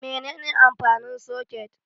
Menene amfanin soket?